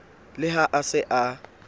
le ha a se a